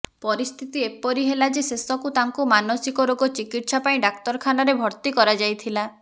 ପରିସ୍ଥିତି ଏପରି ହେଲା ଯେ ଶେଷକୁ ତାଙ୍କୁ ମାନସିକ ରୋଗ ଚିକିତ୍ସା ପାଇଁ ଡାକ୍ତରଖାନାରେ ଭର୍ତ୍ତି କରାଯାଇଥିଲା